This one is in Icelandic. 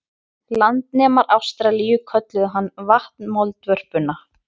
Landnemar Ástralíu kölluðu hana vatnamoldvörpuna.